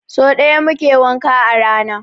So ɗaya muke wanka a rana.